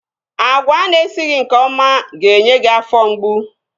Agwa ana esighị nke ọma ga-enye gị afọ mgbu